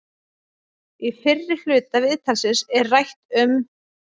Í fyrri hluta viðtalsins er rætt um